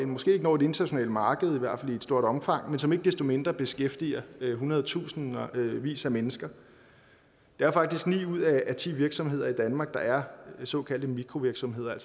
måske ikke når et internationalt marked i hvert noget stort omfang men som ikke desto mindre beskæftiger hundredtusindvis af mennesker det er faktisk ni ud af ti virksomheder i danmark der er såkaldte mikrovirksomheder